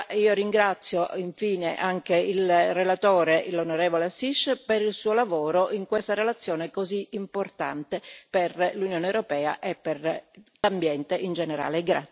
Io ringrazio infine anche il relatore, l'onorevole Assis, per il suo lavoro in questa relazione così importante per l'Unione europea e per l'ambiente in generale.